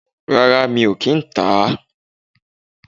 Rárá mi ò kìí tà á